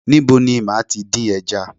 Níbo ni màá tí dín ẹja?